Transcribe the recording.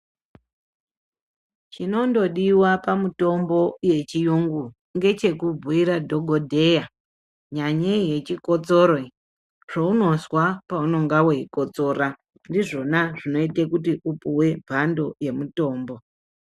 Zvinondodiwa pamitombo yechiyungu nechekubhuyira dhogodheya nyanyei yechikotsoro iyo zvounozwa paunonga weikotsora ndizvona zvinoita kuti upuwe mbando yemutombo.